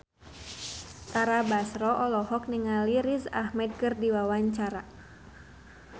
Tara Basro olohok ningali Riz Ahmed keur diwawancara